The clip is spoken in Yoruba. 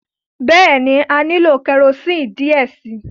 Bẹẹni, a nilo kẹrosini diẹ sii